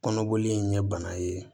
Kɔnɔboli in ye bana ye